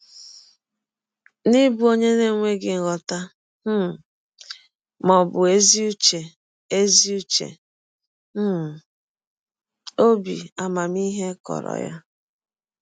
N’ịbụ ọnye na - enweghị nghọta um ma ọ bụ ezi ụche ezi ụche um, ọbi amamihe kọrọ ya.